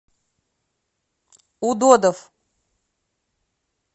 удодов